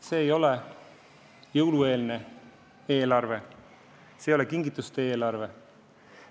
See ei ole jõulueelne eelarve, see ei ole kingituste eelarve.